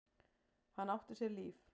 Hann átti sér líf.